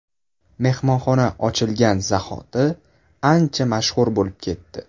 Mehmonxona ochilgan zahoti ancha mashhur bo‘lib ketdi.